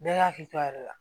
Bɛɛ k'a hakili to a yɛrɛ la